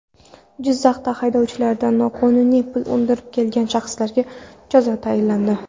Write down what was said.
Jizzaxda haydovchilardan noqonuniy pul undirib kelgan shaxslarga jazo tayinlandi.